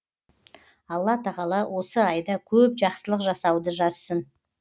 алла тағала осы айда көп жақсылық жасауды жазсын